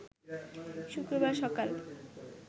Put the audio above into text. শুক্রবার সকাল